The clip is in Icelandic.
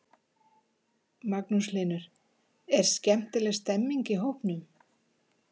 Magnús Hlynur: Er skemmtileg stemming í hópnum?